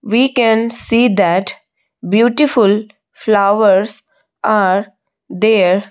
we can see that beautiful flowers are there.